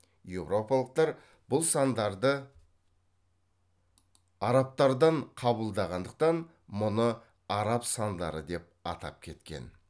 еуропалықтар бұл сандарды арабтардан қабылдағандықтан мұны араб сандары деп атап кеткен